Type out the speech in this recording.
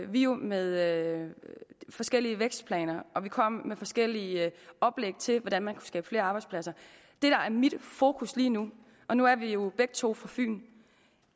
vi jo med forskellige vækstplaner og vi kom med forskellige oplæg til hvordan man skabe flere arbejdspladser det der er mit fokus lige nu og nu er vi jo begge to fra fyn